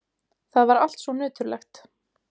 Það var allt svo nöturlegt.